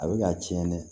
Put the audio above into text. A bɛ ka tiɲɛ dɛ